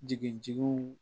Jigitigiw